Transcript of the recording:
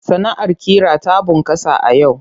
Sana'ar ƙira ta bunƙasa a yau.